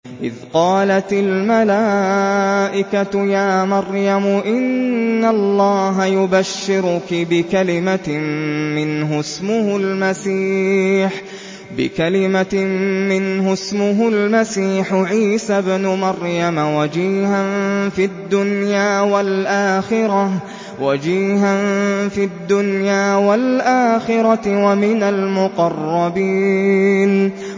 إِذْ قَالَتِ الْمَلَائِكَةُ يَا مَرْيَمُ إِنَّ اللَّهَ يُبَشِّرُكِ بِكَلِمَةٍ مِّنْهُ اسْمُهُ الْمَسِيحُ عِيسَى ابْنُ مَرْيَمَ وَجِيهًا فِي الدُّنْيَا وَالْآخِرَةِ وَمِنَ الْمُقَرَّبِينَ